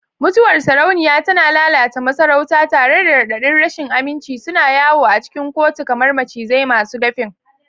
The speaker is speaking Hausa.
Mutuwar sarauniya tana lalata masarauta, tare da raɗaɗin rashin aminci suna yawo a cikin kotu kamar macizai masu dafin.